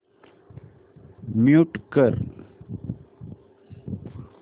mute कर